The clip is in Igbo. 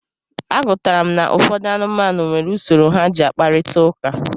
A gụtara m na ụfọdụ anụmanụ nwere usoro ha ji akprịta ụka.